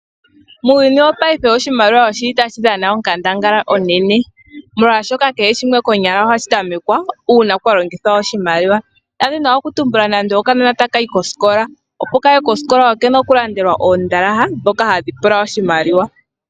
Muuyuni wo paife oshimaliwa oshili tashi dhana onkandangala oonene molwashoka kehe shimwe konyala ohashi tamekwa kwa longithwa oshimaliwa, nda dhina oku tumbula nando okanona ta kayi koskola, opo kaye koskola okena okulandelwa oondalaha dhoka hadhi pula oshimaliwa.